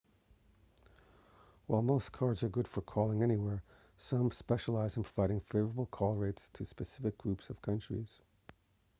while most cards are good for calling anywhere some specialise in providing favourable call rates to specific groups of countries